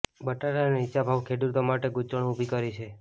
બટાટાના નીચા ભાવે ખેડૂતો માટે ગૂંચવણ ઊભી કરી છે